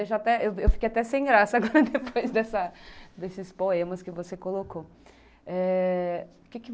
Eu fiquei até sem graça agora, depois desses poemas que você colocou. Eh, o que que